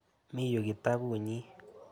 Mi yu kitaput nyi.